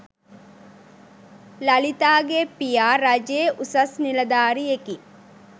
ලලිතාගේ පියා රජයේ උසස් නිලධාරියෙකි.